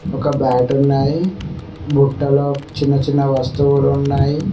ఒక బ్యాట్ ఉన్నాది బుట్టలో చిన్న చిన్న వస్తువులు ఉన్నాయి.